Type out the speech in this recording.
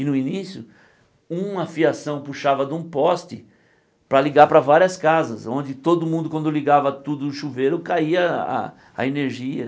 E no início, uma fiação puxava de um poste para ligar para várias casas, onde todo mundo, quando ligava tudo o chuveiro, caía a a energia.